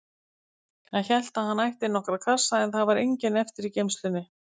Hann hélt að hann ætti nokkra kassa, en það var enginn eftir í geymslunni.